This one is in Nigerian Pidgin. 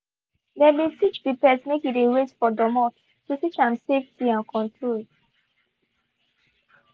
they been teach the pet make e de wait for domot to teach am safety and control.